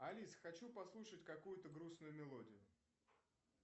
алиса хочу послушать какую то грустную мелодию